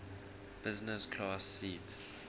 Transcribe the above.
business class seat